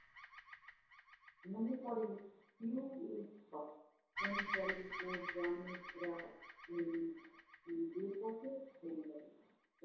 মনে পড়ে পিউ এর কথা। মনে পড়ে ওর গ্রামে ফেরা